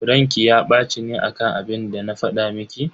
Ranki ya baci ne akan abinda na fada miki?